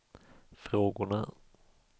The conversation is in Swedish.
frågorna